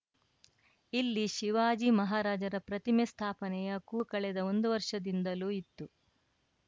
ಇಲ್ಲಿ ಶಿವಾಜಿ ಮಹಾರಾಜರ ಪ್ರತಿಮೆ ಸ್ಥಾಪನೆಯ ಕೂಗು ಕಳೆದ ಒಂದು ವರ್ಷದಿಂದಲೂ ಇತ್ತು